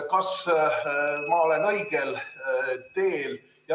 Kas ma olen õigel teel?